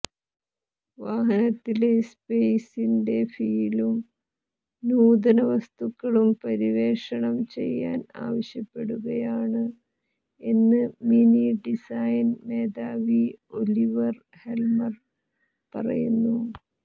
വാഹനത്തിലെ സ്പെയിസിന്റെ ഫീലും നൂതന വസ്തുക്കളും പര്യവേക്ഷണം ചെയ്യാൻ ആവശ്യപ്പെടുകയാണ് എന്ന് മിനി ഡിസൈൻ മേധാവി ഒലിവർ ഹെൽമർ പറയുന്നു